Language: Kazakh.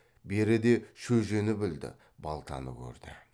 беріде шөжені білді балтаны көрді